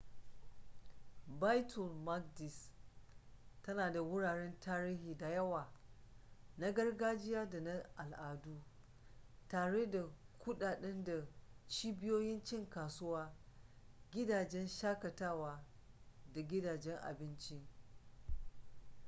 baitul maqdis tana da wuraren tarihi da yawa na gargajiya da na al'adu tare da kuɗaɗe da cibiyoyin cin kasuwa gidajen shakatawa da gidajen abinci